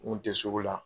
N kun tɛ sugu la